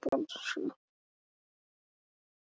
Fallegasta mark tímabilsins hingað til?